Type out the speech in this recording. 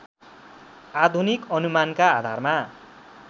आधुनिक अनुमानका आधारमा